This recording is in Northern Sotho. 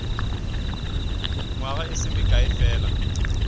nywaga e se mekae fela